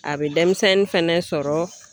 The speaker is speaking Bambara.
A bɛ denmisɛnnin fɛnɛ sɔrɔ.